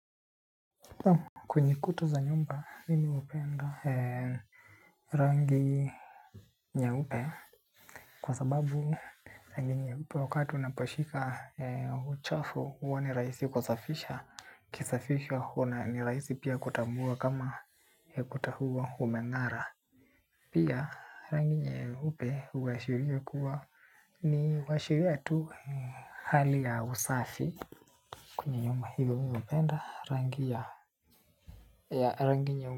Kwenye kuta za nyumba, mimi hupenda rangi nyeupe kwa sababu rangi nyeupe wakati unaposhika uchafu huwa ni rahisi kusafisha, ukisafisha huwa ni rahisi pia kutambua kama ukuta huo umeng'ara. Pia rangi nyeupe huashiria kuwa ni uashiria tu hali ya usafi. Kwenye nyumba hilo mimi hupenda rangi ya nyeupe.